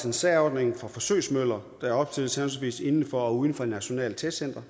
en særordning for forsøgsmøller der opstilles henholdsvis inden for og uden for et nationalt testcenter